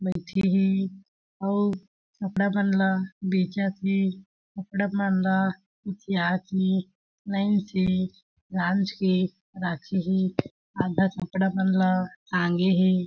बईठे हे अउ कपड़ा मन ला बेचत हे कपड़ा मन ला बिछिया के लाइन से गांज के राखे हे अउ आधा कपड़ा मन ला टांगे हे।